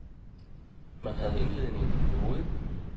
Man havde indledningen i hovedet.